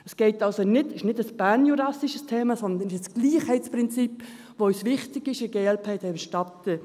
Es ist also nicht ein bernjurassisches Thema, sondern es ist das Gleichheitsprinzip, das uns wichtig ist, seitens der glp der Stadt Bern.